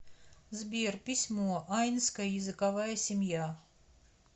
сбер письмо айнская языковая семья